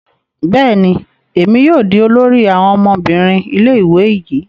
Bẹẹni, èmi yóò di olórí àwọn ọmọbìnrin ilé-ìwé yii